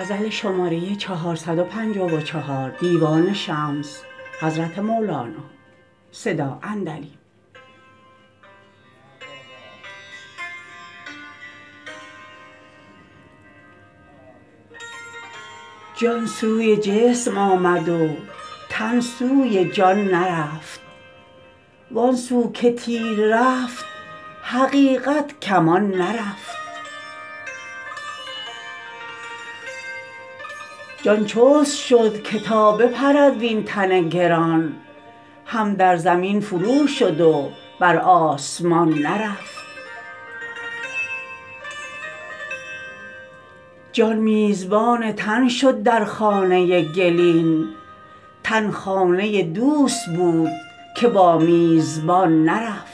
جان سوی جسم آمد و تن سوی جان نرفت وآن سو که تیر رفت حقیقت کمان نرفت جان چست شد که تا بپرد وین تن گران هم در زمین فرو شد و بر آسمان نرفت جان میزبان تن شد در خانه گلین تن خانه دوست بود که با میزبان نرفت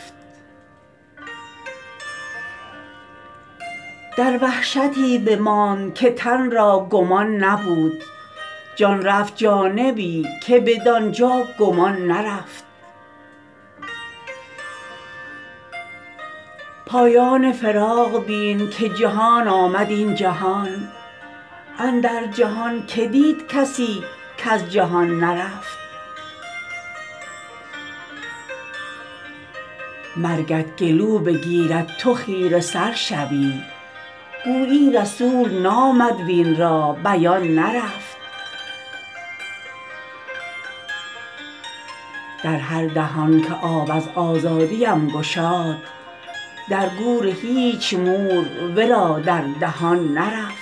در وحشتی بماند که تن را گمان نبود جان رفت جانبی که بدان جا گمان نرفت پایان فراق بین که جهان آمد این جهان اندر جهان کی دید کسی کز جهان نرفت مرگت گلو بگیرد تو خیره سر شوی گویی رسول نامد وین را بیان نرفت در هر دهان که آب از آزادیم گشاد در گور هیچ مور ورا در دهان نرفت